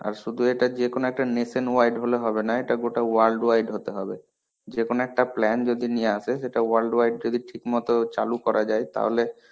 আর শুধু এটা যেকোনো একটা nation wide হলে হবেনা. এটা গোটা world wide হতে হবে. যেকোনো একটা plan যদি নিয়ে আসে, সেটা world wide যদি ঠিকমতো চালু করা যায় তাহলে